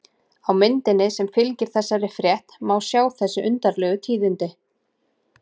Á myndinni sem fylgir þessari frétt má sjá þessi undarlegu tíðindi.